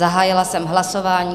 Zahájila jsem hlasování.